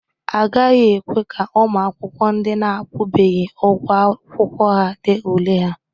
Agaghị ekwe ka ụmụ akwụkwọ ndị na-akwụbeghị ụgwọ akwụkwọ dee ule ha.